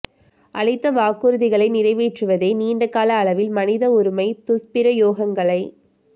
அளித்த வாக்குறுதிகளை நிறைவேற்றுவதே நீண்ட கால அளவில் மனித உரிமை துஸ்பிரயோகங்களை